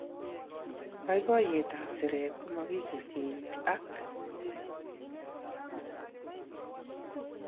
Boiboiyekap siret kumokikerkeiti ak